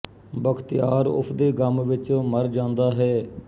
ਬਖਤਿਆਰ ਉਸ ਦੇ ਗਮ ਵਿਚ ਮਰ ਜਾਂਦਾ ਹੈ